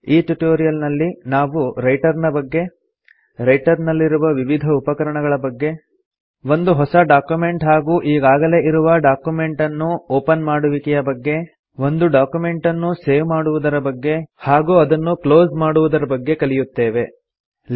ಈ ಟ್ಯುಟೋರಿಯಲ್ ನಲ್ಲಿ ನಾವು ರೈಟರ್ ನ ಬಗ್ಗೆ ರೈಟರ್ ನಲ್ಲಿರುವ ವಿವಿಧ ಉಪಕರಣಗಳ ಬಗ್ಗೆ ಒಂದು ಹೊಸ ಡಾಕ್ಯುಮೆಂಟ್ ಹಾಗೂ ಈಗಾಗಲೇ ಇರುವ ಡಾಕ್ಯುಮೆಂಟ್ ಅನ್ನು ಒಪನ್ ಮಾಡುವಿಕೆಯ ಬಗ್ಗೆ ಒಂದು ಡಾಕ್ಯುಮೆಂಟನ್ನು ಸೇವ್ ಮಾಡುವುದರ ಬಗ್ಗೆ ಹಾಗೂ ರೈಟರ್ ನಲ್ಲಿ ಡಾಕ್ಯುಮೆಂಟನ್ನು ಹೇಗೆ ಕ್ಲೋಸ್ ಮಾಡಬೇಕು ಎನ್ನುವುದರ ಬಗ್ಗೆ ಕಲಿಯುತ್ತೇವೆ